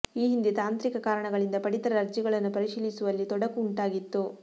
ಈ ಹಿಂದೆ ತಾಂತ್ರಿಕ ಕಾರಣಗಳಿಂದ ಪಡಿತರ ಅರ್ಜಿಗಳನ್ನು ಪರಿಶೀಲಿಸುವಲ್ಲಿ ತೊಡಕು ಉಂಟಾಗಿತ್ತು